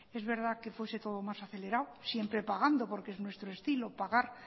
es verdad que fuese todo más acelerado siempre pagando porque es nuestro estilo pagar